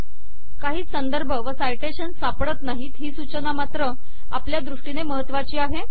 काही संदर्भ व साइटेशन सापडत नाहीत ही सूचना मात्र आपल्या दृष्टीने महत्वाची आहे